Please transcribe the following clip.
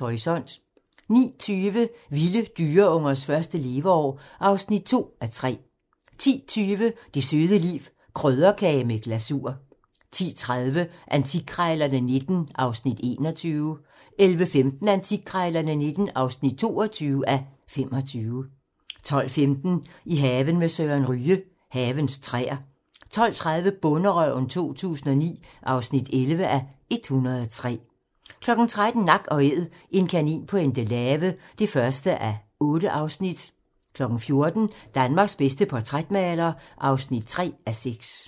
Horisont * 09:20: Vilde dyreungers første leveår (2:3) 10:20: Det søde liv - krydderkage med glasur 10:30: Antikkrejlerne XIX (21:25) 11:15: Antikkrejlerne XIX (22:25) 12:15: I haven med Søren Ryge: Havens træer 12:30: Bonderøven 2009 (11:103) 13:00: Nak & Æd - en kanin på Endelave (1:8) 14:00: Danmarks bedste portrætmaler (3:6)